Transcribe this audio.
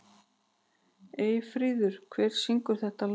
Eyfríður, hver syngur þetta lag?